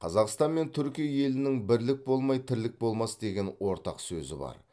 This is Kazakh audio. қазақстан мен түркия елінің бірлік болмай тірлік болмас деген ортақ сөзі бар